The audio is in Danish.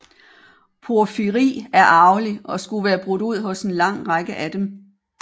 Porfyri er arvelig og skulle være brudt ud hos en lang række af dem